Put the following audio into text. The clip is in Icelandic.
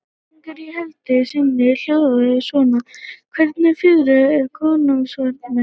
Spurningin í heild sinni hljóðaði svona: Hvernig fiðrildi er kóngasvarmi?